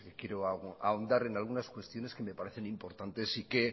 quiero ahondar en algunas cuestiones que me parecen importantes y que